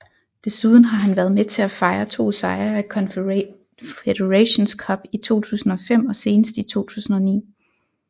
Desuden har han været med til at fejre to sejre i Confederations Cup i 2005 og senest i 2009